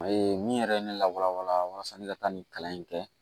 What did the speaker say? A ye min yɛrɛ ye ne lawala wala walasa ne ka taa nin kalan in kɛ